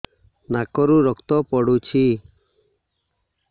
ନାକରୁ ରକ୍ତ ପଡୁଛି